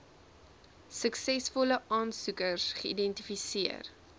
suksesvolle aansoekers geidentifiseer